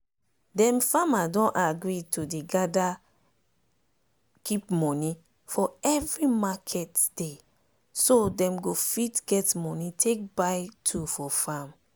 dem farmer don gree to dey gather keep money for every market dayso dem go fit get money take buy tool for farm.